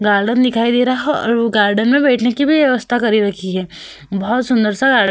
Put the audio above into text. Garden दिखाई दे रहा है और वो गार्डन में बैठने की व्यवस्था करी रखी है। बहोत सुंदर-सा गा --